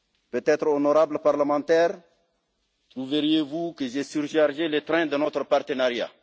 Peut être, honorables Parlementaires, trouverez vous que j'ai surchargé le train de notre partenariat.